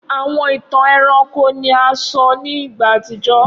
Awọn itan ẹranko ni a sọ ni igba atijọ.